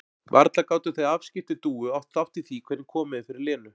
Varla gátu þau afskipti Dúu átt þátt í því hvernig komið er fyrir Lenu?